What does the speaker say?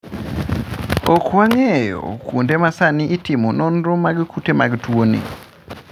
Ok wang'eyo kuonde ma sani itimoe nonro mag kute mag tuoni.